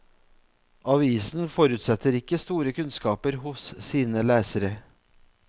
Avisen forutsetter ikke store kunnskaper hos sine lesere.